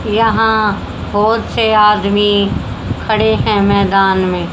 यहां बहुत से आदमी खड़े हैं मैदान में।